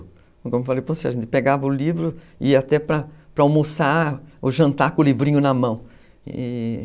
Como eu falei para você, a gente pegava o livro e ia até para para almoçar ou jantar com o livrinho na mão.